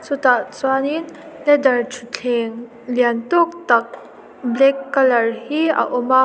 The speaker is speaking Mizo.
chutah chuanin leather thutthleng lian tawk tak black colour hi a awm a.